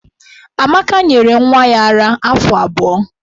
Amaka nyere nwa ya ara afọ abụọ.